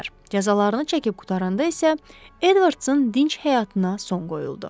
Cəzalarını çəkib qurtaranda isə Edvardsın dinc həyatına son qoyuldu.